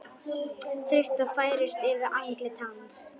Þreyta færist yfir andlit hans.